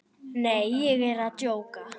Nei, ég er að djóka.